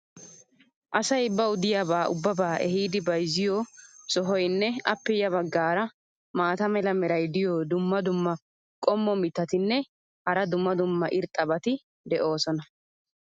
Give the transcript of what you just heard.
asay bawu diyaabaa ubbabaa ehiidi bayzziyo sohoynne appe ya bagaara maata mala meray diyo dumma dumma qommo mitattinne hara dumma dumma irxxabati de'oosona.